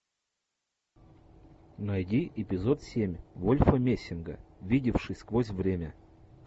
найди эпизод семь вольфа мессинга видевший сквозь время